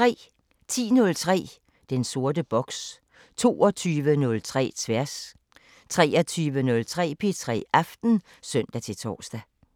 10:03: Den sorte boks 22:03: Tværs 23:03: P3 Aften (søn-tor)